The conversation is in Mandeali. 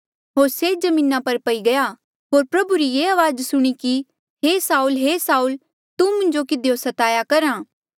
होर से जमीना पर पई गया होर प्रभु री ये अवाज सुणी कि हे साऊल हे साऊल तू मुंजो किधियो स्ताया करहा